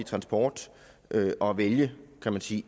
transport og vælge kan man sige